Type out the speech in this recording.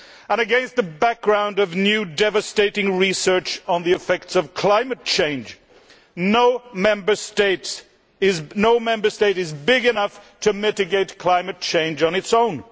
Against the background of new devastating research on the effects of climate change no Member State is big enough to mitigate climate change on its own.